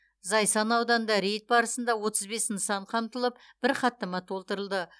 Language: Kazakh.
зайсан ауданында рейд барысында отыз бес нысан қамтылып бір хаттама толтырылды